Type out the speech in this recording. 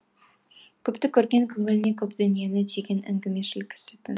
көпті көрген көңіліне көп дүниені түйген әңгімешіл кісітін